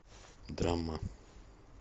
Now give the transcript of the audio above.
драма